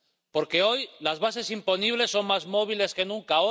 Porque hoy, las bases imponibles son más móviles que nunca